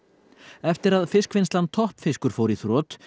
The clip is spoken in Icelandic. eftir að fiskvinnslan Toppfiskur fór í þrot